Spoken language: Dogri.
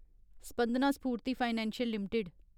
Spandana Sphoorty financial limited